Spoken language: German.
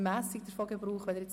– Es wird nicht gewünscht.